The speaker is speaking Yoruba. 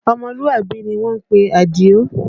Ọmọlúàbí ni wọ́n ń pe Adio